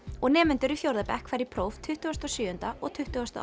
og nemendur í fjórða bekk fara í próf tuttugasta og sjöunda og tuttugasta og